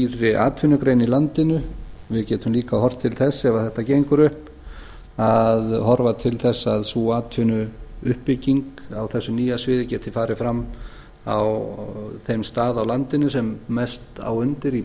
nýrri atvinnugrein í landinu við getum líka horft til þess ef þetta gengur upp að horfa til þess að sú atvinnuuppbygging á þessu nýja sviði geti farið fram á þeim stað á landinu sem mest á undir í